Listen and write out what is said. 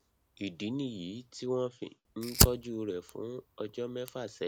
ìdí nìyí tí wọn fi ń tọjú rẹ fún ọjọ mẹfà sẹyìn